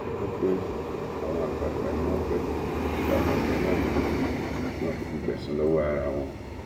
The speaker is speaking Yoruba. a gbọ pé àwọn àgbààgbà ni wọn pẹtù sáwọn ọdọ náà nínú tí wọn kò fi gbẹsan lọwọ ara wọn